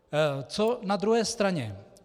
Co na druhé straně?